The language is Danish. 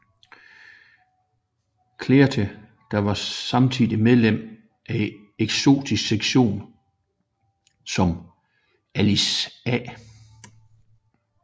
Cleather der var samtidig medlem af Esoterisk Sektion som Alice A